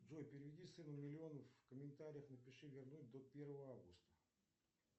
джой переведи сыну миллион в комментариях напиши вернуть до первого августа